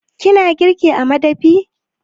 Kina girki a madafi?